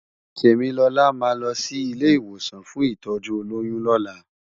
Temilola má lò si ilé iwósàn fún itòjú ólóyùn lòlá